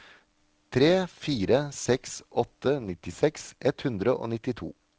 tre fire seks åtte nittiseks ett hundre og nittito